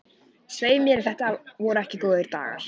Svei mér ef þetta voru ekki góðir dagar.